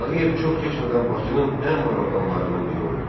Tağıyev çox keçmədən Bakının ən varlı adamlarından biri oldu.